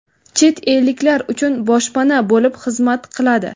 chet elliklar uchun boshpana bo‘lib xizmat qiladi.